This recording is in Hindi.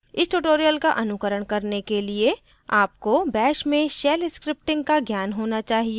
इस tutorial का अनुकरण करने के लिए आपको bash में shell scripting का ज्ञान होना चाहिए